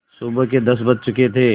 सुबह के दस बज चुके थे